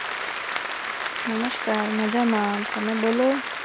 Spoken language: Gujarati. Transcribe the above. નમસ્કાર મજામાં તમે બોલો?